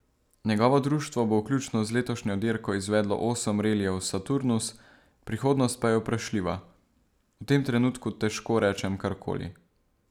Njegovo društvo bo vključno z letošnjo dirko izvedlo osem relijev Saturnus, prihodnost pa je vprašljiva: 'V tem trenutku težko rečem kar koli.